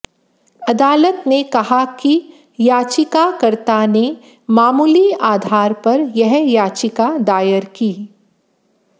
अदालत ने कहा कि याचिकाकर्ता ने मामूली आधार पर यह याचिका दायर की